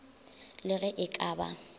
le ge e ka ba